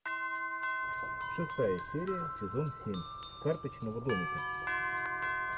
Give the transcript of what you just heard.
шестая серия сезон семь карточного домика